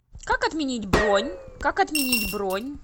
как отменить бронь как отменить бронь